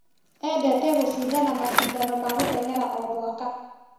Endete gũcindana macindano ma gũtengera o mwaka.